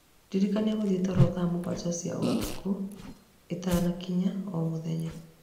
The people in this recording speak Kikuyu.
ndirikania ngũthiĩ toro thaa mũgwanja cia ũtukũ itanakinya o mũthenya.